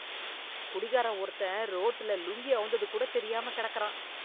குடிகாரன் ஒருத்தன் ரோட்டுல லுங்கி அவுந்தது கூட தெரியாமக் கெடக்குறான்